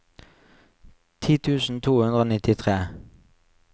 ti tusen to hundre og nittitre